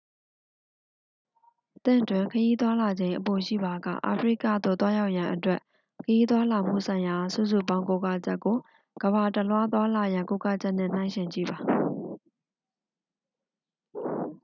သင့်တွင် ခရီးသွားလာချိန်အပိုရှိပါက အာဖရိကကသို့ သွားရောက်ရန်အတွက် ခရီးသွားလာမှုဆိုင်ရာ စုစုပေါင်းကိုးကားချက်ကို ကမ္ဘာတစ်လွှား သွားလာရန် ကိုးကားချက်နှင့် နှိုင်းယှဉ်ကြည့်ပါ